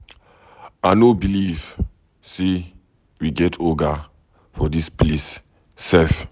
I no believe say we get Oga for dis place sef.